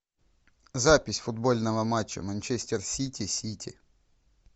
запись футбольного матча манчестер сити сити